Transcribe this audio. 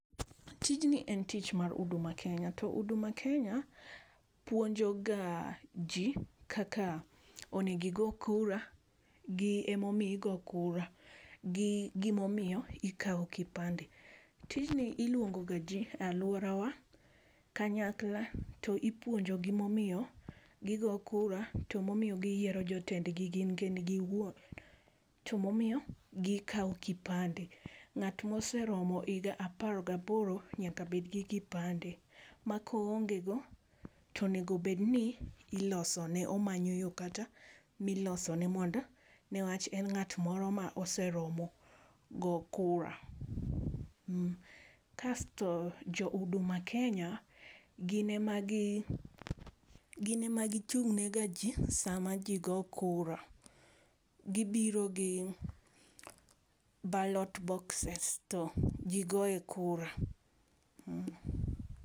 Tij ni en tich mar huduma kenya to huduma kenya puonjo ga ji kaka onego ogo kura gi ema omiyo igo kura gi gi ma omiyo ikawo kipande .Tijni iluongo ga ji e aluorawa kanyakla to ipuonjo gi ma omiyo gi go kura to ma omiyo gi yiero jotend gi gin gin gi wuon to ma omiyo gi kawo kipande. nga wa oseromo igni apar ga boro nyaka bed gi kipande ma ka oonge go to nyaka bed ni iloso ne omanyo yo kata mi loso ne nikech en ng'at moro ma oseromo go kura. Kasto jo huduma kenya gi n em a gi chung ne ga ji sa mi ji goyo kura gi biro gi ballot boxes to ji goye kura